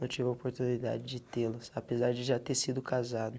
Não tive a oportunidade de tê-los, apesar de já ter sido casado.